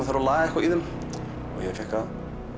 þarf að laga eitthvað í þeim ég fékk að